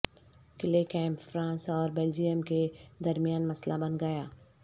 clay camp France اور Belgium کے درمیان مسئلہ بن گیا